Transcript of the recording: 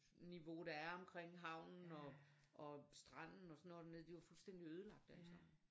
Niveau der er omkring havnen og og stranden og sådan noget dernede det er jo fuldstændig ødelagt alt sammen